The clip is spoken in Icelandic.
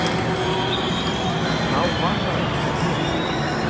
Þá var það ekki ég!